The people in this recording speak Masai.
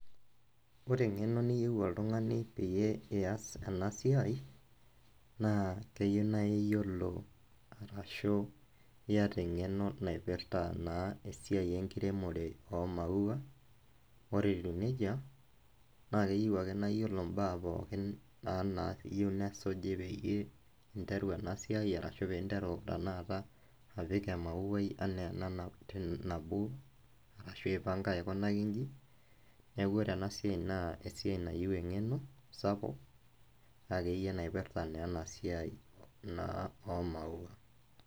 Ore engeno niyieu oltungani pias enasiai na keyieu nai niyiolo ashu iyata engeno naipirta na esiai enkiremore omaua oreetiu nejia. Na keyieu ake niyiolo mbaa poookin nayieu nesuji pinteru ena esiiai ashu pinteru tanakata apik emauai anaa enaa ashu aipanga aiko nji, neaku ore ena siai na esiai nayieu engeno sapuk nakeyie naipirta enasia o maua.